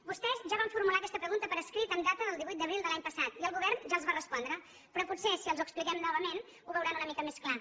vostès ja van formular aquesta pregunta per escrit amb data del divuit d’abril de l’any passat i el govern ja els va respondre però potser si els ho expliquem novament ho veuran una mica més clar